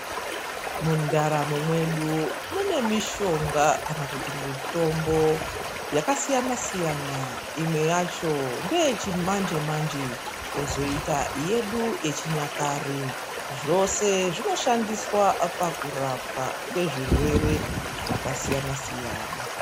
Mundaramo mwedu mune mishonga, kana kuti mitombo yakasiyana-siyana. Imwe yacho ngeyechimanje-manje kwozoita yedu yechinyakare. Zvose zvinoshandiswa pakurapwa kwezvirwere zvakasiyana-siyana.